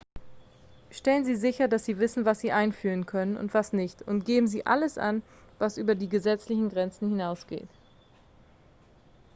stellen sie sicher dass sie wissen was sie einführen können und was nicht und geben sie alles an was über die gesetzlichen grenzen hinausgeht